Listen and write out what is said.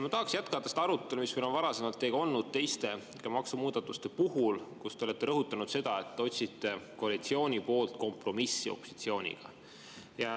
Ma tahaksin jätkata seda arutelu, mis meil on varasemalt teiega olnud teiste maksumuudatuste puhul, kus te olete rõhutanud seda, et te otsite koalitsiooni poolt kompromissi opositsiooniga.